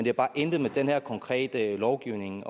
har bare intet med den her konkrete lovgivning